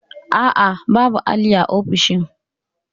A'a, babu alli a ofishin